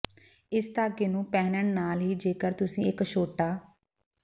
ਇਸ ਧਾਗੇ ਨੂੰ ਪਹਿਨਣ ਨਾਲ ਹੀ ਜੇਕਰ ਤੁਸੀ ਇੱਕ ਛੋਟਾ